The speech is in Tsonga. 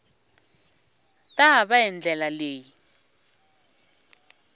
ta va hi ndlela leyi